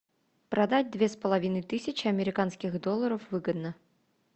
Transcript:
продать две с половиной тысячи американских долларов выгодно